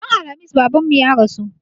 Ran Alhamis Babanmu ya rasu.